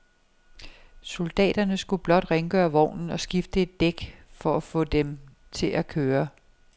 Soldaterne skulle blot rengøre vognen og skifte et dæk for at få den til at køre.